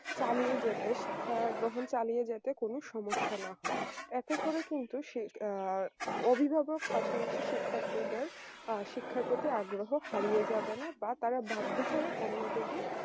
চালিয়ে যেতে শিক্ষা গ্রহণ চালিয়ে যেতে কোন সমস্যা না হয় এতে করে কিন্তু শি আ অভিভাবক পাশাপাশি শিক্ষার্থীদের আ শিক্ষার প্রতি আগ্রহ হারিয়ে যাবে না বা তারা বাধ্য হয়ে অন্যদেরকে